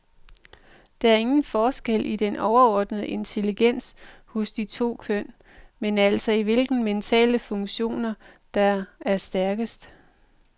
Der er ingen forskel i den overordnede intelligens hos de to køn, men altså i hvilke mentale funktioner, der er stærkest.